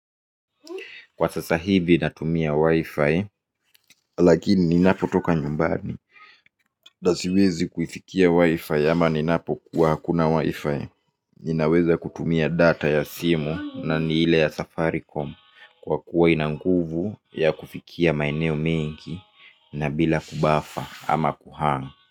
Kwa sasa hivi natumia wi-fi lakini ninapo toka nyumbani siwezi kuifikia wi-fi ama ninapo kuwa hakuna wi-fi. Ninaweza kutumia data ya simu na niile ya safaricom kwa kuwa ina nguvu ya kufikia maeneo mengi na bila kubafa ama kuhang.